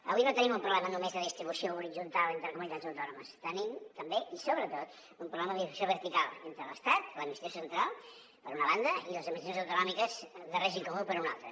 avui no tenim un problema només de distribució horitzontal entre comunitats autònomes tenim també i sobretot un problema de divisió vertical entre l’estat l’administració central per una banda i les limitacions autonòmiques de règim comú per una altra